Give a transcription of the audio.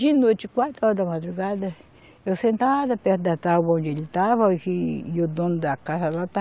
De noite, quatro horas da madrugada, eu sentada perto da tábua onde ele estava, e o dono da casa lá estava